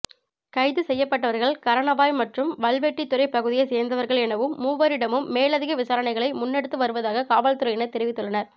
கைது செய்யப்பட்டவர்கள் கரணவாய் மற்றும் வல்வெட்டித்துறை பகுதியை சேர்ந்தவர்கள் எனவும் மூவரிடமும் மேலதிக விசாரணைகளை முன்னெடுத்து வருவதாக காவல்துறையினர் தெரிவித்துள்ளனர்